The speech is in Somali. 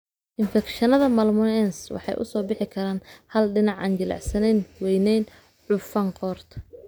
infekshannada malmoense waxay u soo bixi karaan hal dhinac, aan jilicsanayn, weynayn, cufan qoorta.